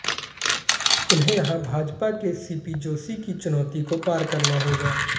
उन्हें यहां भाजपा के सीपी जोशी की चुनौती को पार करना होगा